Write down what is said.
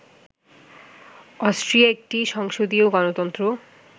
Austria একটি সংসদীয় গণতন্ত্র